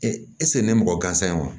esigi ne mɔgɔ gansan ye wa